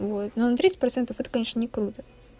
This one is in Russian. вот ну тридцать процентов это конечно не круто